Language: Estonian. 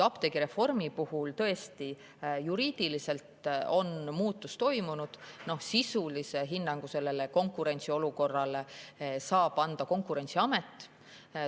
Apteegireformiga tõesti juriidiliselt muutus toimus, sisulise hinnangu konkurentsiolukorrale saab anda Konkurentsiamet.